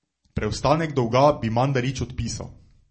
Preostanek dolga bi Mandarić odpisal.